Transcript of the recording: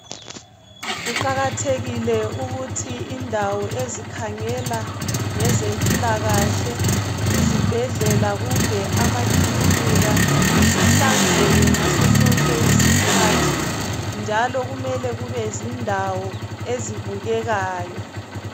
Kuqakathekile ukuthi indawo ezikhangela ngezempilakahle izibhedlela kumbe amakilinika zihlanzeke ngasosonke isikhathi njalo kumele kube zindawo ezibukekayo.